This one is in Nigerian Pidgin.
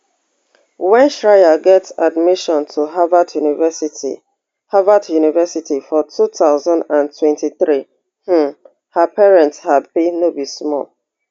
wen shreya get admission to harvard university harvard university for two thousand and twenty-three um her parents happy no be small